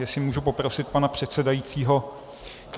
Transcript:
Jestli můžu poprosit pana předsedajícího...